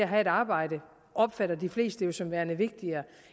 have et arbejde opfatter de fleste jo som værende vigtigere